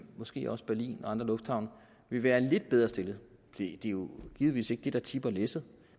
måske også berlin og andre lufthavne vil være lidt bedre stillede det er jo givetvis ikke det der tipper læsset